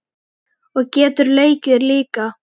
Og getur leikið líka.